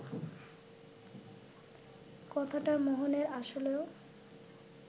কথাটা মোহনের আসলেও